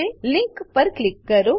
link link પર click કરો